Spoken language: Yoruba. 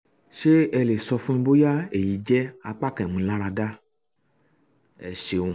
ṣé ẹ um lè sọ fún mi bóyá èyí jẹ́ apá kan ìmúniláradá? um ẹ ṣeun